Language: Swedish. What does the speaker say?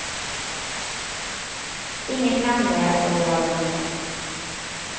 Inget hände och det var bråttom.